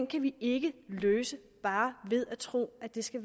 kan vi ikke løse bare ved at tro at det skal